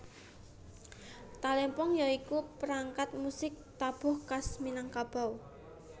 Talempong ya iku perangkat musik tabuh khas Minangkabau